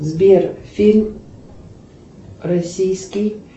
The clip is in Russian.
сбер фильм российский